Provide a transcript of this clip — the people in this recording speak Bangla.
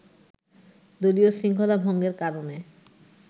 দলীয় শৃঙ্খলা ভঙ্গের কারণে